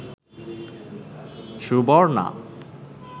Suborna